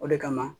O de kama